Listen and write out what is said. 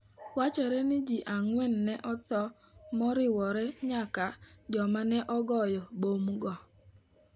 Wachore ni ji ang'wen ne otho, moriwo nyaka joma ne ogoyo bomgo.